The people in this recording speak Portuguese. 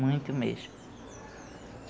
Muito mesmo.